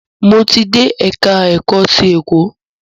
Mo ti dé ẹka ẹ̀kọ́ ti ẹ̀kọ́.